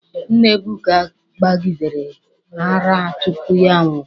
Nna Ebuka gbagidere ara tupu ya a nwụọ.